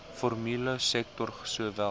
formele sektor sowel